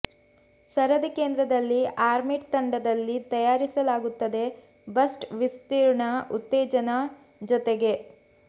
ಸರದಿ ಕೇಂದ್ರದಲ್ಲಿ ಆರ್ಮ್ಪಿಟ್ ತಂಡದಲ್ಲಿ ತಯಾರಿಸಲಾಗುತ್ತದೆ ಬಸ್ಟ್ ವಿಸ್ತೀರ್ಣ ಉತ್ತೇಜನೆ ಜೊತೆಗೆ